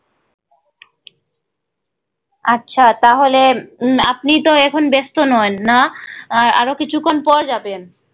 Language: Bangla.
আচ্ছা তাহলে উম আপনি তো এখন ব্যাস্ত নন না, আহ আরো কিছুক্ষন পর যাবেন।